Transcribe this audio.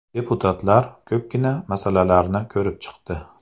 Deputatlar ko‘pgina masalalarni ko‘rib chiqdi.